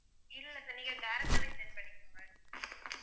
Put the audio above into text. இல்ல sir நீங்க direct ஆவே send பண்ணிருங்க